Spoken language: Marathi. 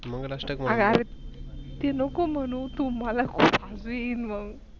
आग आयेक ते लोक म्हणू मला तू लई हवीन मग